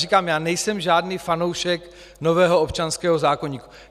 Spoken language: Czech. Říkám, já nejsem žádný fanoušek nového občanského zákoníku.